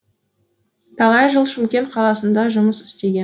талай жыл шымкент қаласында жұмыс істеген